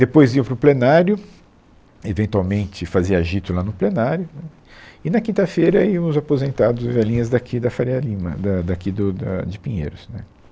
Depois iam para o plenário, eventualmente fazia agito lá no plenário, né, e na quinta-feira iam os aposentados e velhinhas daqui da Faria Lima, da daqui do da de Pinheiros, né